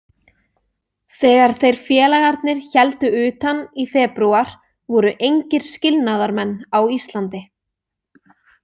Þegar þeir félagarnir héldu utan í febrúar voru engir skilnaðarmenn á Íslandi.